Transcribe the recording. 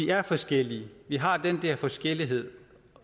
er forskellige vi har den der forskellighed